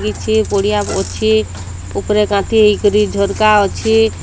ଏଇଥି କୁଡ଼ିଆ ଏଇଥି ପୁକୁର କାନ୍ଥି ହେଇକରି ଝରକା ଅଛେ।